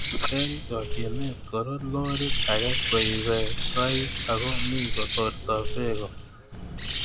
Eng chokchinet Koro lorit age koibei koik ako mi kotortoi beko